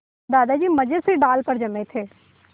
दादाजी मज़े से डाल पर जमे थे